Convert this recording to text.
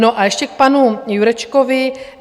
No a ještě k panu Jurečkovi.